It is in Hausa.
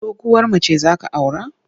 Doguwar mace za ka aura?